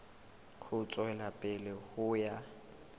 ho tswela pele ho ya